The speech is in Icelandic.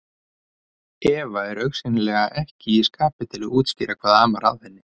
Eva er augsýnilega ekki í skapi til að útskýra hvað amar að henni.